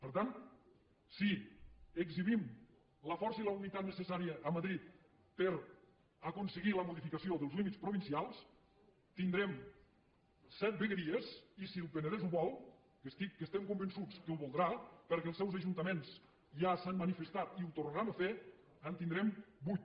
per tant si exhibim la força i la unitat necessària a madrid per aconseguir la modificació dels límits provincials tindrem set vegueries i si el penedès ho vol que estic que estem convençuts que ho voldrà perquè els seus ajuntaments ja s’han manifestat i ho tornaran a fer en tindrem vuit